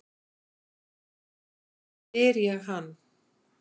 spyr ég hann.